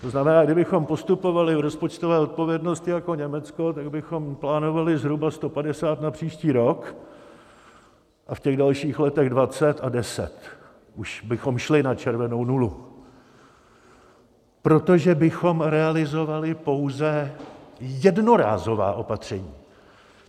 To znamená, kdybychom postupovali v rozpočtové odpovědnosti jako Německo, tak bychom plánovali zhruba 150 na příští rok a v těch dalších letech 20 a 10, už bychom šli na červenou nulu, protože bychom realizovali pouze jednorázová opatření.